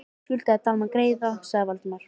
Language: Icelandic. . ég skuldaði Dalmann greiða sagði Valdimar.